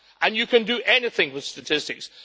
You can do anything with statistics.